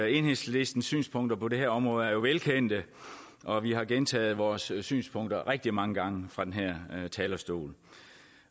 enhedslistens synspunkter på det her område er jo velkendte og vi har gentaget vores synspunkter rigtig mange gange fra den her talerstol